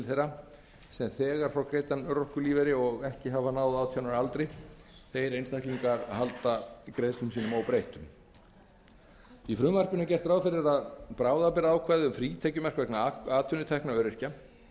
þeirra sem þegar fá greiddan örorkulífeyri og ekki hafa náð átján ára aldri þeir einstaklingar munu halda greiðslum sínum óbreyttum í frumvarpinu er gert ráð fyrir að bráðabirgðaákvæði um frítekjumark vegna atvinnutekna öryrkja